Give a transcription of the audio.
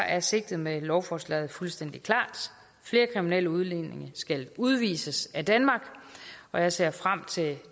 er sigtet med lovforslaget fuldstændig klart flere kriminelle udlændinge skal udvises af danmark og jeg ser frem til